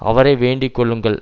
அவரை வேண்டிக்கொள்ளுங்கள்